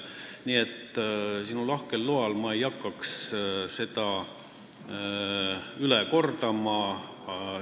Nii et sinu lahkel loal ma ei hakkaks seda üle kordama.